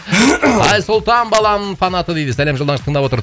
айсұлтан баламның фанаты дейді сәлем тыңдап отыр